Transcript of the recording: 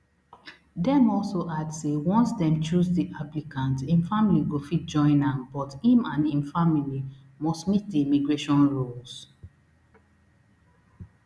dem also add say once dem choose di applicant im family go fit join am but im and im family must meet di immigration rules